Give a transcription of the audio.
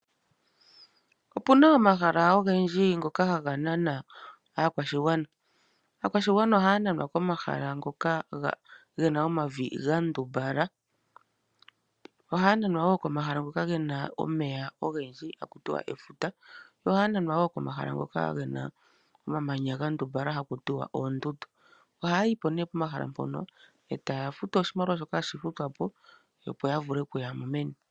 Opena omahala ifendji ngoka haga nana aakwashigwana. Aakwashigwana ohaya nanwa komahala ngoka gena omavi ga ndumbala, ohaya nanwa komahala ngoka gena omeya ogendji, ha kuti efuta, yo haya nanwa wo komahala ngoka gena omamanya ga ndumbala ta kuti oondundu. Ohaya yipo ne pomahala mpoka etaya futu oshimaliwa shoka hashi futwapo, opo ya vule oku yamo meni.